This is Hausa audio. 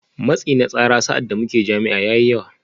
Matsi na tsara sa’ad da muke jami’a ya yi yawa